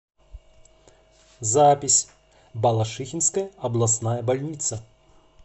запись балашихинская областная больница